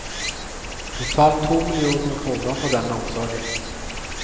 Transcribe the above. Totalt to millioner kroner for denne omsorgen.